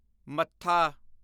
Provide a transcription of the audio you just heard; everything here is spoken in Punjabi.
ਮੱਥਾ